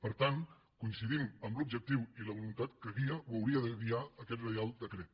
per tant coincidim en l’objectiu i la voluntat que guien o haurien de guiar aquest reial decret